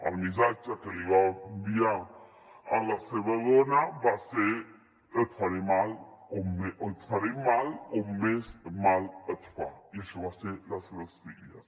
el missatge que li va enviar a la seva dona va ser et faré mal on més mal et fa i això va ser a les seves filles